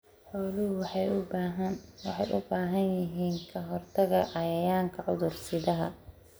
Xooluhu waxay u baahan yihiin ka-hortagga cayayaanka cudur-sidaha.